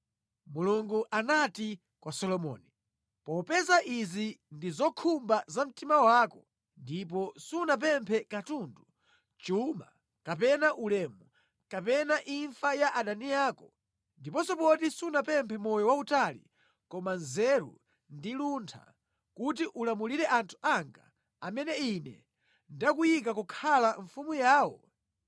Mulungu anati kwa Solomoni, “Popeza izi ndi zokhumba za mtima wako ndipo sunapemphe katundu, chuma kapena ulemu, kapena imfa ya adani ako, ndiponso poti sunapemphe moyo wautali koma nzeru ndi luntha kuti ulamulire anthu anga amene Ine ndakuyika kukhala mfumu yawo,